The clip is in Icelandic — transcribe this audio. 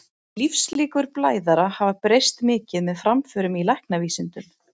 Lífslíkur blæðara hafa breyst mikið með framförum í læknavísindum.